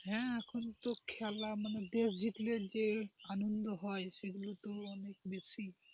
হ্যাঁ এখন তো খেলা মানে দেশ জিতলে যে আনন্দ হয় সেগুলো তো অনেক বেশি।